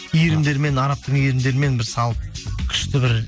иірімдермен арабтың иірімдерімен бір салып күшті бір